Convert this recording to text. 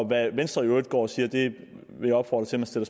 hvad venstre i øvrigt går og siger vil jeg opfordre til at